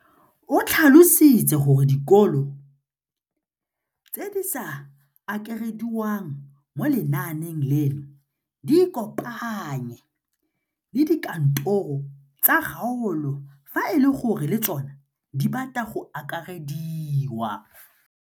O tlhalositse gore dikolo tse di sa akarediwang mo lenaaneng leno di ikopanye le dikantoro tsa kgaolo fa e le gore le tsona di batla go akarediwa.